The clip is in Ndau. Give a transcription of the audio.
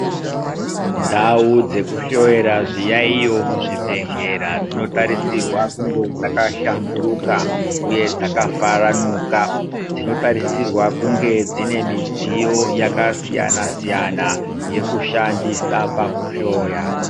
Ndau dzekuhloyera zviyaiyo muzvibhedhlera dzinotarisirwa kunge dzakashamburuka uye dzakafaranuka dzinotarisirwa kunge dzine midziyo yakasiyana siyana yekushandisa pakuhloya.